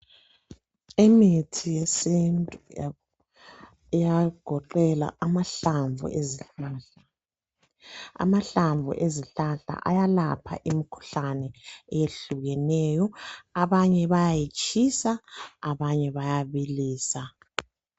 Imithi yesintu iyagoqela amahlamvu ezihlahla. Amahlamvu ezihlahla ayalapha imikhuhlane eyehlukeneyo. Abanye bayayitshisa, abanye bayabilisa.